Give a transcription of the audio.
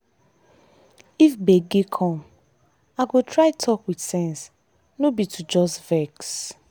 if gbege come gbege come i go try talk with sense no be to just vex.